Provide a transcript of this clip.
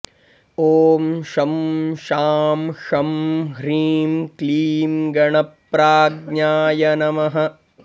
ॐ शं शां षं ह्रीं क्लीं गणप्राज्ञाय नमः